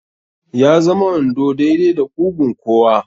Ya zama wando daidai da ƙugun kowa.